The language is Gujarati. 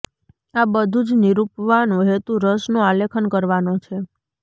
આ બધું જ નિરૂપવાનો હેતું રસનું આલેખન કરવાનો છે